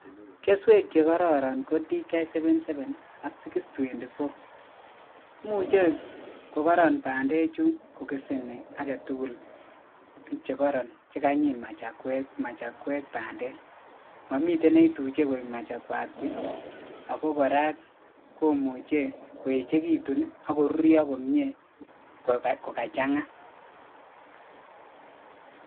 Keswek chekororon ko DKK seven seven ak Six twenty four imuche koron bandechu kokeseni aketugul chekoron chekanyit machakwek bandek momi neituche koik machakwat puch ako kora komuche koechekitu ako karurio komie kokachang'a.